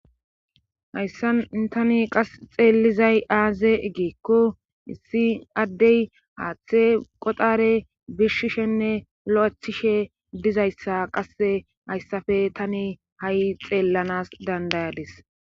hayssa tani qas xeelizay aaze gikko issi addey haaththe qoxare birishishenne lo'ethishe dizayssa qasse hayssafe tani ha'i xeellanas dandayadis